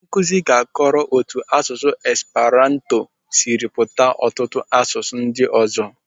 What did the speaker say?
Onye Nkụzi anyị ga-akọọrọ otu asụsụ Esperanto siri pụta ọtụtụ asụsụ ndị ọzọ.